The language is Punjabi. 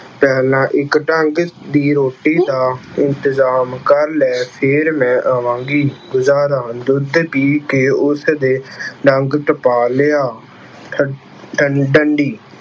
ਪਹਿਲਾਂ ਇੱਕ ਡੰਗ ਦੀ ਰੋਟੀ ਦਾ ਇੰਤਜ਼ਾਮ ਕਰ ਲੈ, ਫੇਰ ਮੈਂ ਆਵਾਂਗੀ। ਗੁਜ਼ਾਰਾ - ਦੁੱਧ ਪੀ ਕੇ ਉਸਨੇ ਡੰਗ ਟਪਾ ਲਿਆ। ਠੱ ਡੰਡੀ-